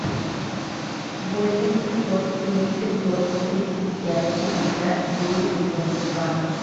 восемь семьсот три пятьсот тридцать пять пятьдесят девять девяносто два